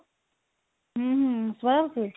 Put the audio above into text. ହୁଁ ଶୁଭାଯାଉଛି